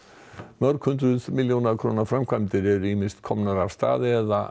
mörg hundruð milljóna króna framkvæmdir eru ýmist komnar af stað eða